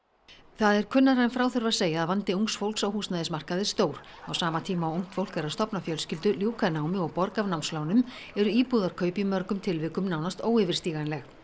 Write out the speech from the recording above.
það er kunnara en frá þurfi að segja að vandi ungs fólks á húsnæðismarkaði er stór á sama tíma og ungt fólk er að stofna fjölskyldu ljúka námi og borga af námslánum eru íbúðarkaup í mörgum tilvikum nánast óyfirstíganleg